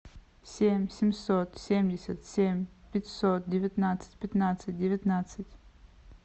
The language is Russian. семь семьсот семьдесят семь пятьсот девятнадцать пятнадцать девятнадцать